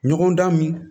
Ɲɔgɔn dan min